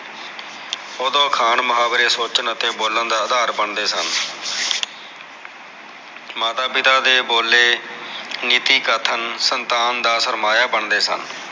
ਓਦੋ ਅਖਾਣ ਮੁਹਾਵਰੇ ਸੋਚਣ ਅਤੇ ਬੋਲਣ ਦੇ ਅਧਾਰ ਬਣਦੇ ਸਨ ਮਾਤਾ ਪਿਤਾ ਦੇ ਬੋਲੇ ਨੀਤੀ ਕਥਨ ਮੰਤਾਨ ਦਾ ਸਰਮਾਇਆ ਬਣਦੇ ਸਨ